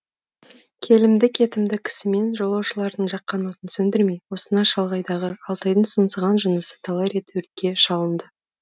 келімді кетімді кісі мен жолаушылардың жаққан отын сөндірмей осына шалғайдағы алтайдың сыңсыған жынысы талай рет өртке шалынды